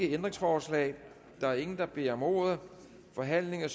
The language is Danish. ændringsforslag der er ingen der beder om ordet forhandlingen